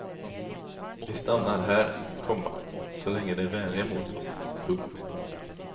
Vi stannar här, komma så länge de är vänliga mot oss. punkt